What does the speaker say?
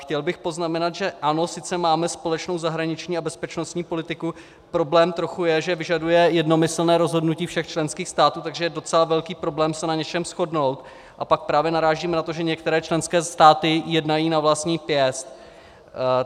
Chtěl bych poznamenat, že ano, sice máme společnou zahraniční a bezpečnostní politiku, problém trochu je, že vyžaduje jednomyslně rozhodnutí všech členských států, takže je docela velký problém se na něčem shodnout, a pak právě narážíme na to, že některé členské státy jednají na vlastní pěst.